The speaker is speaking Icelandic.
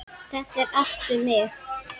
Þetta er allt um mig!